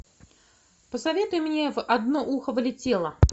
посоветуй мне в одно ухо влетело